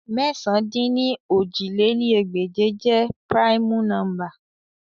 Mẹ̀sán-dín-ní-ojì lé ní ẹgbẹ́je jẹ primu nọmba